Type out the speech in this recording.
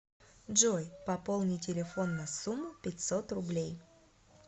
джой пополни телефон на сумму пятьсот рублей